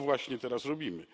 I to właśnie teraz robimy.